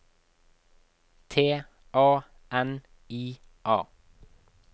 T A N I A